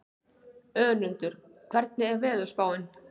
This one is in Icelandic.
Önundur, hvernig er veðurspáin?